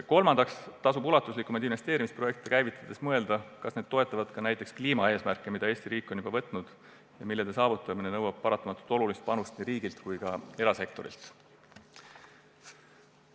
Kolmandaks tasub ulatuslikumaid investeerimisprojekte käivitades mõelda, kas need toetavad ka näiteks kliimaeesmärke, mida Eesti riik on lubanud järgida ja mille saavutamine nõuab paratamatult olulist panust nii riigilt kui ka erasektorilt.